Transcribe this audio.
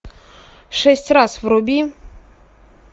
шесть раз вруби